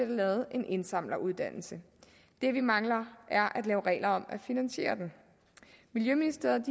lavet en indsamleruddannelse det vi mangler er at lave regler at finansiere den miljøministeriet